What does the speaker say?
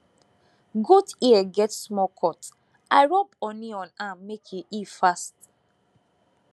goat ear get small cut i rub honey on am make e heal fast